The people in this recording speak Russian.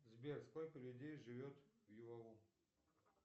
сбер сколько людей живет в юау